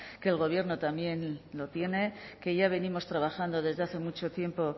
que el gobierno también lo tiene que ya venimos trabajando desde hace mucho tiempo